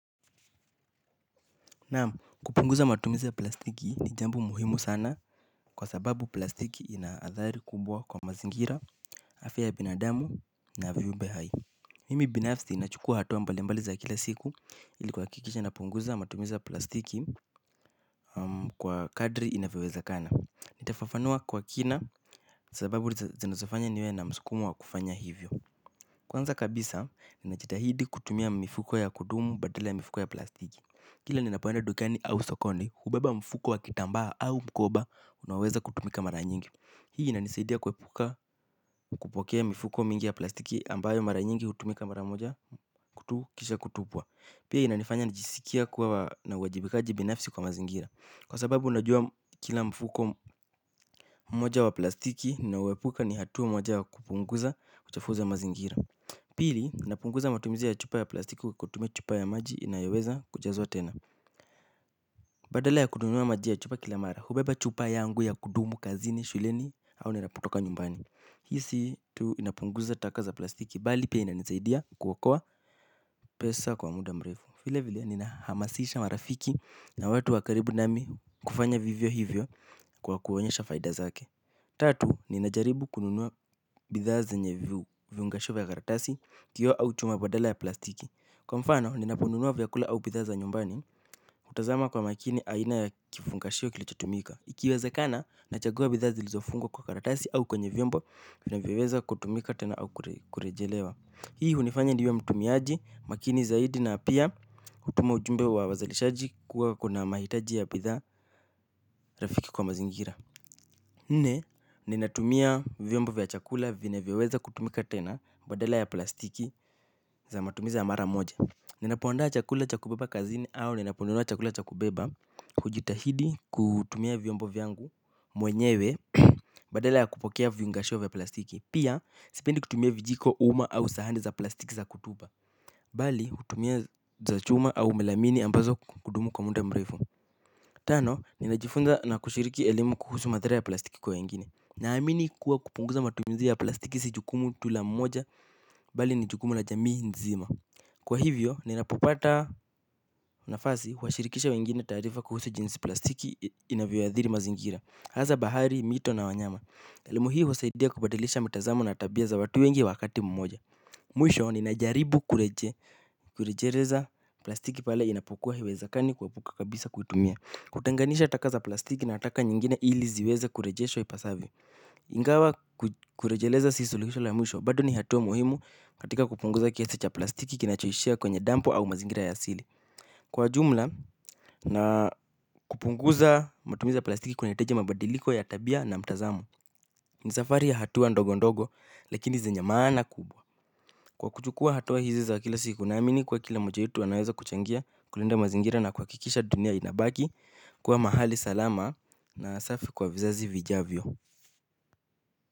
Na kupunguza matumizi ya plastiki ni jambo muhimu sana kwa sababu plastiki ina athari kubwa kwa mazingira, afya binadamu na viumbe hai. Mimi binafsi nachukua hatua mbalimbali za kila siku ili kuhakikisha napunguza matumizi ya plastiki kwa kadri inavyowezekana. Nitafafanua kwa kina sababu zinazofanya niwe na msukumo wa kufanya hivyo. Kwanza kabisa, ninajitahidi kutumia mifuko ya kudumu badala ya mifuko ya plastiki. Kila ninapoenda dukani au sokoni hubeba mfuko wa kitambaa au mkoba, unaoweza kutumika mara nyingi. Hii inanisaidia kuepuka kupokea mifuko mingi ya plastiki ambayo mara nyingi kutumika mara moja tu kisha kutupwa. Pia inanifanya nijisikie kuwa na uwajibikaji binafsi kwa mazingira. Kwa sababu unajua kila mfuko mmoja wa plastiki, ninaoepuka ni hatua moja ya kupunguza uchafuzi wa mazingira. Pili, napunguza matumizi ya chupa ya plastiki kutumia chupa ya maji inayoweza kujazwa tena. Badala ya kununuwa maji ya chupa kila mara, hubeba chupa yangu ya kudumu kazini, shuleni, au ninapotoka nyumbani. Hii si tu inapunguza taka za plastiki, bali pia inanisaidia kuokoa pesa kwa muda mrefu. Vile vile, ninahamasisha marafiki na watu wa karibu nami kufanya vivyo hivyo kwa kuonyesha faida zake. Tatu, ninajaribu kununua bidhaa zenye viungisho vya karatasi, kioo au chuma badala ya plastiki. Kwa mfano, ninaponunua vyakula au bidhaa za nyumbani hutazama kwa makini aina ya kifungashio kilichotumika ikiwezakana, nachagua bidhaa zilizofungwa kwa karatasi au kwenye vyombo, vinavyoweza kutumika tena au kurejelewa. Hii hunifanya niwe mtumiaji, makini zaidi na pia hutuma ujumbe wa wazalishaji kuwa kuna mahitaji ya bidhaa rafiki kwa mazingira. Nne, ninatumia vyombo vya chakula vinavyoweza kutumika tena. Badala ya plastiki za matumizi ya mara moja. Ninapoandaa chakula cha kubeba kazini au ninaponunua chakula cha kubeba hujitahidi kutumia vyombo vyangu mwenyewe badala ya kupokea vifungashio vya plastiki. Pia sipendi kutumia vijiko uma au sahani za plastiki za kutupa. Bali hutumia za chuma au melamini ambazo kudumu kwa muda mrefu. Tano, ninajifunza na kushiriki elimu kuhusu madhara ya plastiki kwa wengine. Naamini kuwa kupunguza matumizi ya plastiki si jukumu tu la mmoja bali ni jukumu la jamii nzima. Kwa hivyo, ninapopata nafasi huwashirikisha wengine taarifa kuhusu jinsi plastiki inavyoathiri mazingira. Hasa bahari, mito na wanyama. Elimu hii husaidia kubadilisha mitazamo na tabia za watu wengi wakati mmoja. Mwisho, ninajaribu kureje kurejeleza plastiki pale inapokua haiwezekani kuepuka kabisa kutumia. Kutenganisha taka za plastiki na taka nyingine ili ziweze kurejeshwa ipasavyo. Ingawa kurejeleza si suluhisho la mwisho. Bado ni hatua muhimu katika kupunguza kiasi cha plastiki kinachoishia kwenye dampo au mazingira ya asili. Kwa ujumla na kupunguza matumi ya plastiki kunahitaji mabadiliko ya tabia na mtazamo. Ni safari ya hatua ndogo ndogo lakini zenye maana kubwa. Kwa kuchukua hatua hizi za kila siku naamini kwa kila moja wetu anaweza kuchangia kulinda mazingira na kuhakikisha dunia inabaki kwa mahali salama na safi kwa vizazi vijavyo.